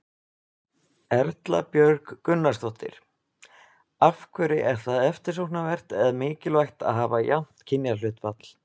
Erla Björg Gunnarsdóttir: Af hverju er það eftirsóknarvert eða mikilvægt að hafa jafnt kynjahlutfall?